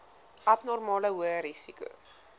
abnormale hoë risiko